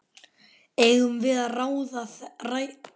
Eigum við að ræða þetta?